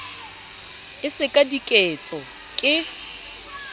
e se ka diketso ke